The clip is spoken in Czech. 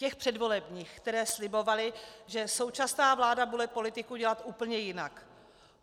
Těch předvolebních, které slibovaly, že současná vláda bude politiku dělat úplně jinak.